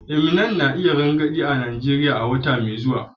Eminem na iya rangadi a Najeriya wata mai zuwa.